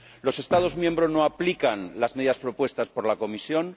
Los Estados miembros no aplican las medidas propuestas por la Comisión.